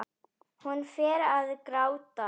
Hún fer að gráta.